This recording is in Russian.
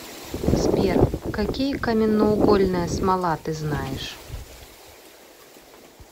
сбер какие каменноугольная смола ты знаешь